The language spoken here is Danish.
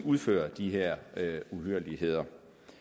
udfører de her uhyrligheder